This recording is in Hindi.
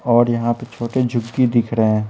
और यहाँ पे छोटे झुक्गी दिख रहे हैं।